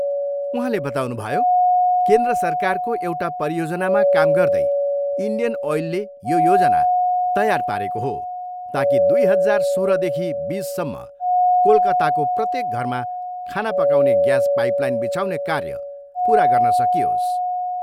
उहाँले बताउनुभयो, केन्द्र सरकारको एउटा परियोजनामा काम गर्दै इन्डियन ओयलले यो योजना तेयार पारेको हो ताकि दुई हजार सोह्रदेखि बिससम्म कोलकाताको प्रत्येक घरमा खाना पकाउने ग्यास पाइपलाइन बिछाउने कार्य पुरा गर्न सकियोस्।